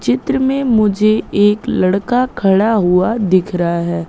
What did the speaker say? चित्र में मुझे एक लड़का खड़ा हुआ दिख रहा है।